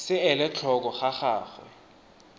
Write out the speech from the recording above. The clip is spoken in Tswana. se ele tlhoko ga gagwe